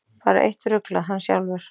Bara eitt ruglað: Hann sjálfur.